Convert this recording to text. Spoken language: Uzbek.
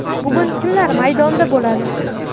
Bugun kimlar maydonda bo‘ladi?